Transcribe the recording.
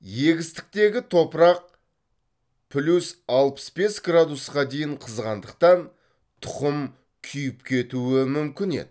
егістіктегі топырақ плюс алпыс бес градусқа дейін қызғандықтан тұқым күйіп кетуі мүмкін еді